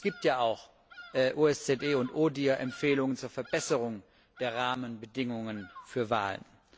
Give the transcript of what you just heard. Es gibt ja auch OSZE und ODIHR Empfehlungen zur Verbesserung der Rahmenbedingungen für Wahlen.